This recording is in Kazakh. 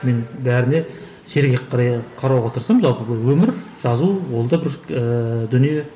мен бәріне сергек қарауға тырысамын жалпы бұл өмір жазу ол да бір ііі дүние